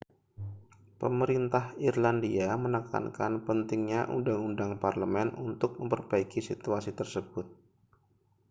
pemerintah irlandia menekankan pentingnya undang-undang parlemen untuk memperbaiki situasi tersebut